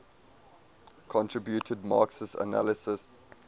contributed marxist analyses